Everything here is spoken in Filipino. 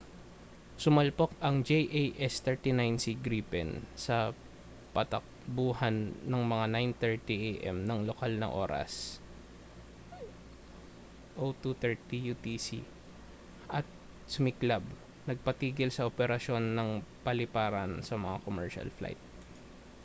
sumalpok ang jas 39c gripen sa patakbuhan ng mga 9:30 am nang lokal na oras 0230 utc at sumiklab nagpatigil sa operasyon ng paliparan sa mga commercial flight